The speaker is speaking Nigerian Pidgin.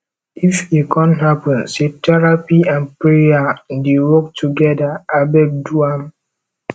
if e con hapun say therapy nd prayer dey work togeda abeg do am